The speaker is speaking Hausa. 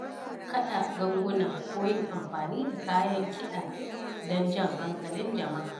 Kaɗa ganguna ko yin amfani da kayan kida don jan hankalin jama’a.